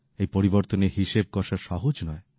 এই পরিবর্তনের হিসেব কষা সহজ নয়